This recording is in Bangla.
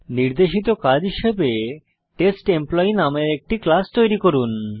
নির্দেশিত কাজ হিসাবে টেস্টেমপ্লয়ী নামে আরেকটি ক্লাস তৈরি করুন